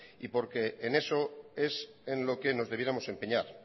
y porque en eso es en lo que nos debiéramos empeñar